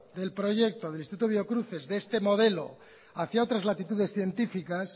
del proyecto del instituto biocruces de este modelo hacia otras latitudes científicas